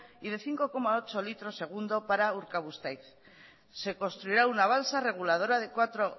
y de cinco coma ocho litros segundo para urkabustaiz se construirá una balsa reguladora de cuatro